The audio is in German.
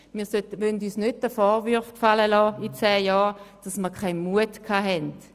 Wir wollen uns in zehn Jahren nicht den Vorwurf gefallen lassen, dass wir keinen Mut hatten.